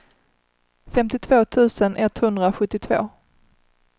femtiotvå tusen etthundrasjuttiotvå